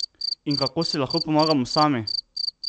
In kako si lahko pomagamo sami?